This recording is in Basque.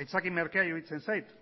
aitzaki merkea iruditzen zait